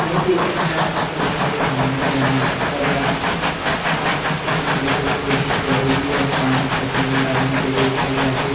बहोत ही अच्छा तरीका से बनाया गया हैं और या हर किसान लोगो को जरूरी है पानी खेतो मे डालने के लिए तब जाके--